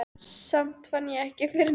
Samt fann ég ekki fyrir neinni gleði.